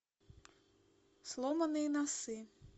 сломанные носы